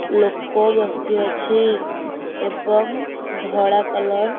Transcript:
ଲୋକ ବସି ଅଛି ଏବଂ ଧଳା କଲର ।